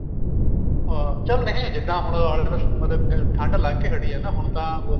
ਉਹ ਚੱਲ ਨਹੀਂ ਜਿੱਦਾਂ ਹੁਣ alters ਠੰਡ ਲੰਗ ਕੇ ਹਟੀ ਹੈ ਹੈ ਹੁਣ ਤਾਂ ਉਹ